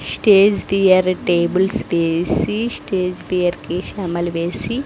stage fear tables వేసి stage fear కి శామలు వేసి --